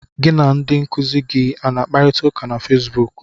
Gị na ndị nkuzi gị a na-akparịta ụka na Fesbuk?